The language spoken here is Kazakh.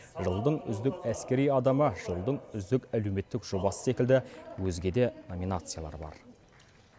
жылдың үздік әскери адамы жылдың үздік әлеуметтік жобасы секілді өзге де номинациялар бар